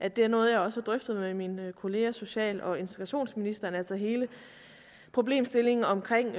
at det er noget jeg også har drøftet med min kollega social og integrationsministeren altså hele problemstillingen omkring